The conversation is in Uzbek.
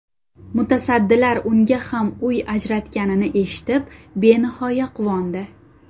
Mutasaddilar unga ham uy ajratganini eshitib, benihoya quvondi.